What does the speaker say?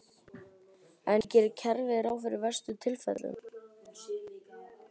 En gerir kerfið ráð fyrir verstu tilfellunum?